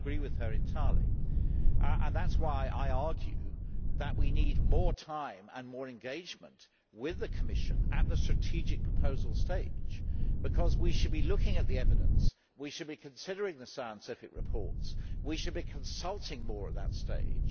I agree with her entirely and that is why I argue that we need more time and more engagement with the Commission at the strategic proposal stage because we should be looking at the evidence, we should be considering the scientific reports and we should be consulting more at that stage.